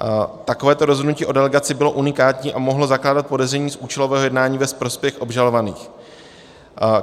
Takové rozhodnutí o delegaci bylo unikátní a mohlo zakládat podezření z účelového jednání ve prospěch obžalovaných.